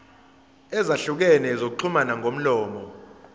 ezahlukene zokuxhumana ngomlomo